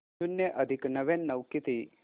शून्य अधिक नव्याण्णव किती